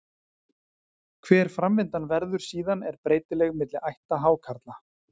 Hver framvindan verður síðan er breytileg milli ætta hákarla.